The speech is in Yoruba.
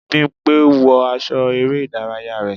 bimpe! wọ aṣọ ere idaraya rẹ.